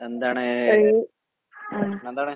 എന്താണ് പ്രശ്നേന്താണ്?